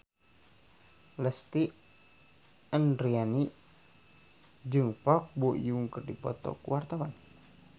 Lesti Andryani jeung Park Bo Yung keur dipoto ku wartawan